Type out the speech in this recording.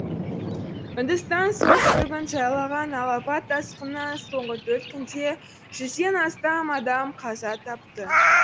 үндістанның солтүстігін жайлаған алапат тасқыннан соңғы төрт күнде жүзден астам адам қаза тапты